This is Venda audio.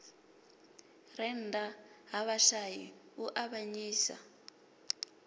rennda ha vhashai u avhanyisa